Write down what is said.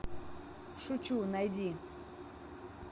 шучу найди